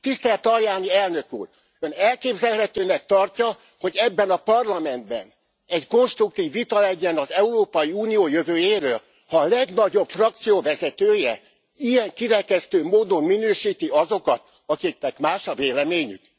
Tisztelt Tajani elnök úr, Ön elképzelhetőnek tartja, hogy ebben a Parlamentben egy konstruktív vita legyen az Európai Unió jövőjéről, ha a legnagyobb frakció vezetője ilyen kirekesztő módon minősíti azokat, akiknek más a véleményük?